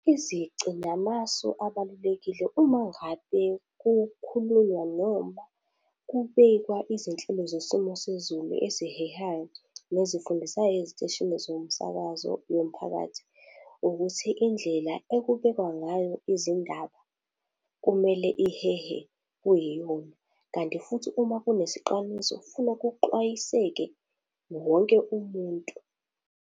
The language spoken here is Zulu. Izici namasu abalulekile uma ngabe kukhulunywa noma kubekwa izinhlelo zesimo sezulu ezihehayo nezifundisayo eziteshini zomsakazo nomphakathi, ukuthi indlela ekubekwa ngayo izindaba kumele ihehe kuyiyona. Kanti futhi uma kunesixwayiso funa kuxwayiseke wonke umuntu.